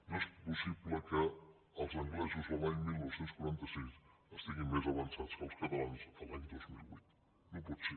no és possible que els anglesos l’any dinou quaranta sis estiguin més avançats que els catalans l’any dos mil vuit no pot ser